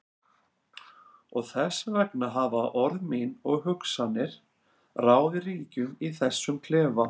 Og þess vegna hafa orð mín og hugsanir ráðið ríkjum í þessum klefa.